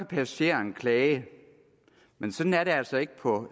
passagererne klage men sådan er det altså ikke på